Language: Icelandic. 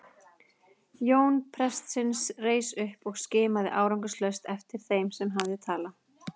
Jón prestsins reis upp og skimaði árangurslaust eftir þeim sem hafði talað.